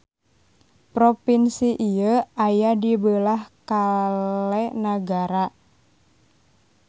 Propinsi ieu aya di beulah kale nagara.